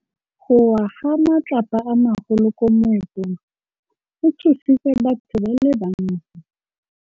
Go wa ga matlapa a magolo ko moepong go tshositse batho ba le bantsi.